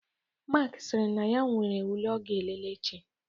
Mark sịrị na ya nwere ule ọ ga-elele echi.